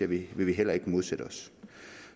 vil vi heller ikke modsætte os